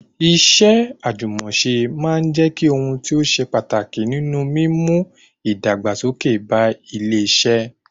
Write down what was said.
Iṣẹ́ àjùmọ̀ṣe yóò máa jẹ́ ohun tí ó ṣe pàtàkì nínú mímú ìdàgbàsókè ba ilé iṣẹ́